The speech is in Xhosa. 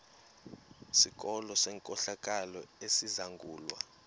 sikolo senkohlakalo esizangulwa